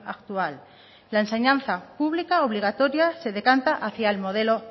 actual la enseñanza pública obligatoria se decanta hacía el modelo